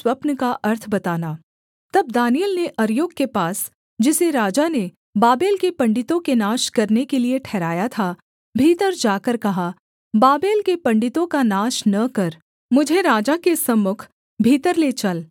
तब दानिय्येल ने अर्योक के पास जिसे राजा ने बाबेल के पंडितों के नाश करने के लिये ठहराया था भीतर जाकर कहा बाबेल के पंडितों का नाश न कर मुझे राजा के सम्मुख भीतर ले चल मैं अर्थ बताऊँगा